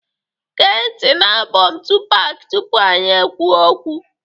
Gee ntị na album Tupac tupu anyị ekwuo okwu